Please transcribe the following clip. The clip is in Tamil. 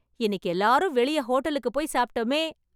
இன்னிக்கு எல்லாரும் வெளியே ஹோட்டலுக்கு போய் சாப்ட்டோமே...